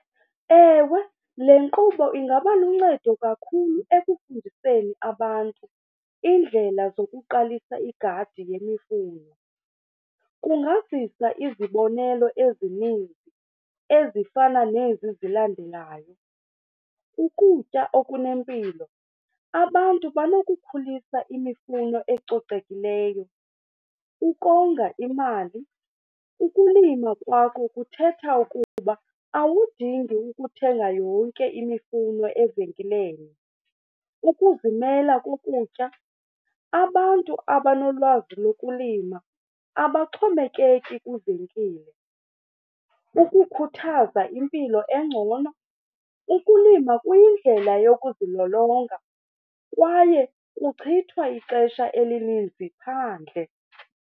Ewe, le nkqubo ingaba luncedo kakhulu ekufundiseni abantu iindlela zokuqalisa igadi yemifuno. Kungazisa izibonelelo ezininzi ezifana nezi zilandelayo. Ukutya okunempilo, abantu banokukhulisa imifuno ecocekileyo. Ukonga imali, ukulima kwakho kuthetha ukuba awudingi ukuthenga yonke imifuno evenkileni. Ukuzimela kokutya, abantu abanolwazi lokulima abaxhomekeki kwivenkile. Ukukhuthaza impilo engcono, ukulima kuyindlela yokuzilolonga kwaye kuchithwa ixesha elininzi phandle.